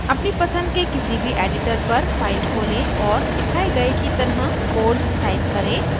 अपनी पसंद के किसी भी editor पर file खोलें और दिखाए गए की तरह code type करें